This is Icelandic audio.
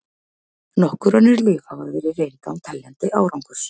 Nokkur önnur lyf hafa verið reynd án teljandi árangurs.